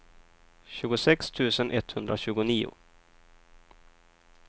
tjugosex tusen etthundratjugonio